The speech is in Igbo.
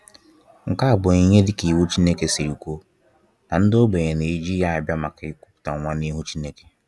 Nke a bụ onyinye dịka iwu Chineke siri kwuo, na ndị ogbenye na-eji ya bịa maka ikuputa nwa n'ihu Chineke